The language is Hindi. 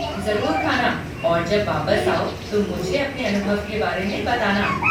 जरुर ख़ाना और जब वापस आओ तो मुझे अपने अनुभव के बारे में बताना।